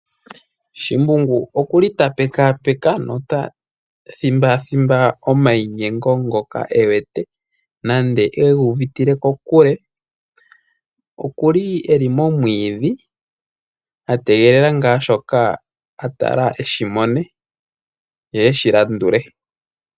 Shimbungu okuli tapekapeka nota thimbathimba omayinyengo ngoka ewete nande okuga uvitile kokule. Okuli eli momwiidhi ategelela shoka atala eshimone ye eshilandule.